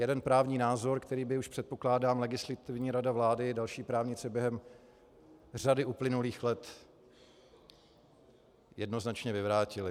Jeden právní názor, který by už, předpokládám, Legislativní rada vlády i další právníci během řady uplynulých let jednoznačně vyvrátili.